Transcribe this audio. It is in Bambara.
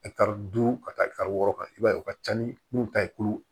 duuru ka taa ɛ wɔɔrɔ kan i b'a ye u ka ca ni mun ta ye kulu